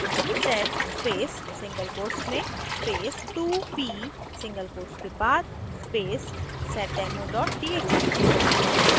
sed space single quotes में space 2p single quotes के बाद space seddemo txt